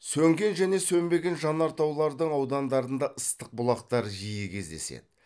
сөнген және сөнбеген жанартаулардың аудандарында ыстық бұлақтар жиі кездеседі